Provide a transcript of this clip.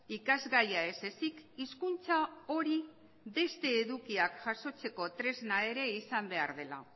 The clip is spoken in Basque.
ikasgaia ez ezik hizkuntza hori beste edukiak jasotzeko tresna ere izan behar dela